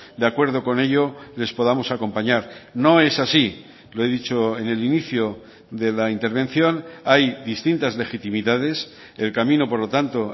de acuerdo con ello les podamos acompañar no es así lo he dicho en el inicio de la intervención hay distintas legitimidades el camino por lo tanto